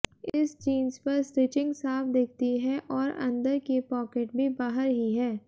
इस जींस पर स्टिचिंग साफ दिखती है और अंदर की पॉकेट भी बाहर ही है